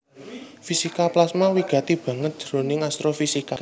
Fisika plasma wigati banget jroning astrofisika